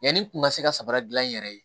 Yanni n kun ka se ka sabara gilan n yɛrɛ ye